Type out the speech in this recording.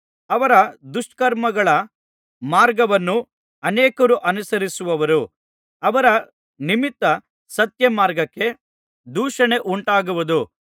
ಅವರ ದುಷ್ಕರ್ಮಗಳ ಮಾರ್ಗವನ್ನು ಅನೇಕರು ಅನುಸರಿಸುವರು ಅವರ ನಿಮಿತ್ತ ಸತ್ಯಮಾರ್ಗಕ್ಕೆ ದೂಷಣೆ ಉಂಟಾಗುವುದು